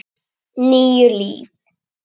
Níu líf.